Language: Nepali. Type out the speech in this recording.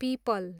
पिपल